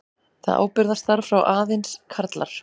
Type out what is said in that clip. Það ábyrgðarstarf fá aðeins karlar.